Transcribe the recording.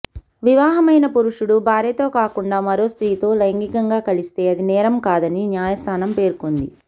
వివాహమైన పురుషుడు భార్యతో కాకుండా మరో స్ర్తితో లైంగికంగా కలిస్తే అది నేరం కాదని న్యాయస్థానం పేర్కొంది